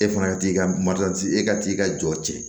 E fana ka t'i ka e ka t'i ka jɔ tiɲɛ